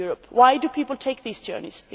Why do people take these journeys?